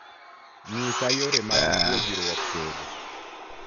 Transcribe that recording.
nyisa yore mag puojruok tedo